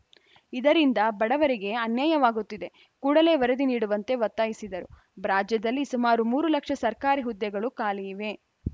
ಇದರಿಂದ ಬಡವರಿಗೆ ಅನ್ಯಾಯವಾಗುತ್ತಿದೆ ಕೂಡಲೇ ವರದಿ ನೀಡುವಂತೆ ಒತ್ತಾಯಿಸಿದರು ರಾಜ್ಯದಲ್ಲಿ ಸುಮಾರು ಮೂರು ಲಕ್ಷ ಸರ್ಕಾರಿ ಹುದ್ದೆಗಳು ಖಾಲಿ ಇವೆ